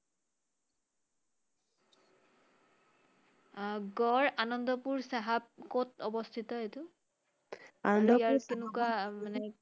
আহ গড় আনন্দপুৰ চাহাব ক‘ত অৱস্হিত এইটো? আৰু ইয়াৰ কেনেকুৱা মানে?